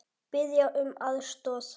Biðja um aðstoð!